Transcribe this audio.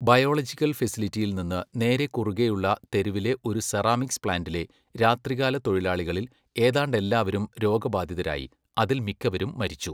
Biological ഫെസിലിറ്റിയിൽ നിന്ന് നേരെ കുറുകെയുള്ള തെരുവിലെ ഒരു സെറാമിക്സ് പ്ലാന്റിലെ രാത്രികാല തൊഴിലാളികളിൽ ഏതാണ്ടെല്ലാവരും രോഗബാധിതരായി, അതിൽ മിക്കവരും മരിച്ചു.